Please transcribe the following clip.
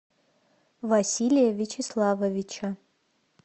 василия вячеславовича